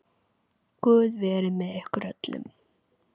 Guð verið með ykkur öllum.